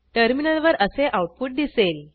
टर्मिनलवर असे आऊटपुट दिसेल